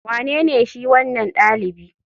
Wanene shi wanan dalibi?